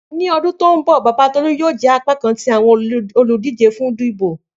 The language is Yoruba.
Ni ọdun to nbọ baba Tolu yoo jẹ apakan ti awọn oludije fun idibo.